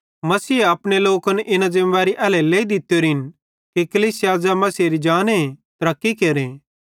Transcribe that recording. मसीहे अपने लोकन इना ज़िमेदारी एल्हेरेलेइ दित्तोरिन कि कलीसिया ज़ै मसीहेरी जाने तरक्की केरे